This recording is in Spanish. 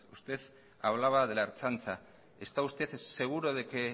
usted hablaba de la ertzaintza está usted seguro de que